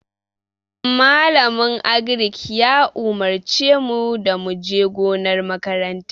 Malamin Agric ya umurce mu da mu je gonar makaranta.